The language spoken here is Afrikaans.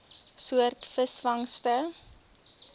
soort visvangste